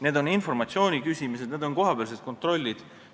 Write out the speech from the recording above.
Need on informatsiooni küsimised, need on kohapealsed kontrollid.